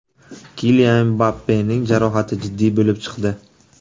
Kilian Mbappening jarohati jiddiy bo‘lib chiqdi.